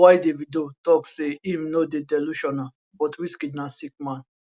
while davido tok say im no dey delusional but wizkid na sick man